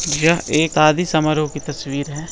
यह एक शादी समारोह की तस्वीर है।